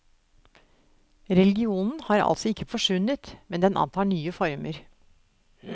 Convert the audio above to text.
Religionen har altså ikke forsvunnet, men den antar nye former.